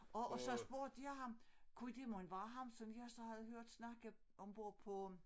Og og så spurgte jeg ham kunne det mon være ham som jeg så havde hørt snakke ombord på